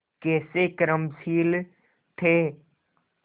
कैसे कर्मशील थे